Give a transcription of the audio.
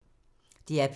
DR P3